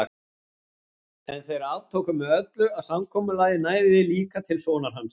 En þeir aftóku með öllu að samkomulagið næði líka til sonar hans.